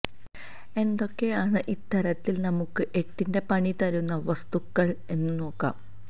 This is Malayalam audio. എന്തൊക്കെയാണ് ഇത്തരത്തില് നമുക്ക് എട്ടിന്റെ പണി തരുന്ന വസ്തുക്കള് എന്നു നോക്കാം